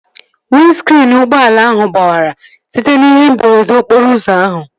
Windskriin ụgbọala ahụ gbawara site n'ihe mberede okporo ụzọ ahụ